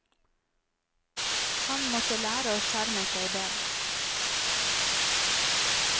Han måtte lære å skjerme seg bedre.